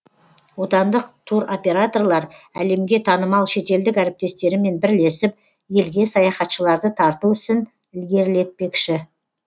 отандық туроператорлар әлемге танымал шетелдік әріптестерімен бірлесіп елге саяхатшыларды тарту ісін ілгерілетпекші